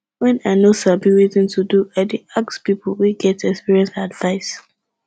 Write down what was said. wen i no sabi wetin to do i dey ask pipu wey get experience advice